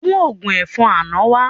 Mú ògún ẹ̀fọn àná wá